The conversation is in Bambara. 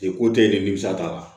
E ko tɛ nimisa t'a la